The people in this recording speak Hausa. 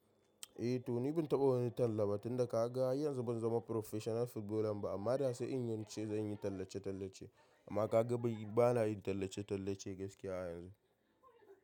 Eh Toni, ban taɓa wani talla ba tunda ka ga, yanzu ban zama professional footballer ba amma da sai in ce zan yi tallace-tallace. Amma ka ga bana yin tallace-tallace gaskiya yanzu.